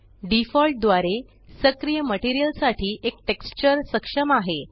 default द्वारे सक्रिय material साठी एक टेक्सचर सक्षम आहे